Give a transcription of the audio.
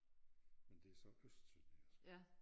Men det så østsønderjysk